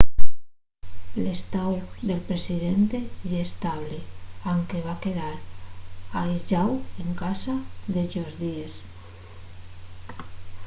l’estáu del presidente ye estable anque va quedar aislláu en casa dellos díes